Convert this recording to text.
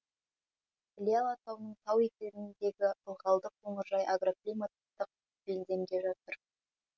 іле алатауының тау етегіндегі ылғалды қоңыржай агроклиматтық белдемде жатыр